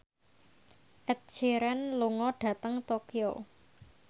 Ed Sheeran lunga dhateng Tokyo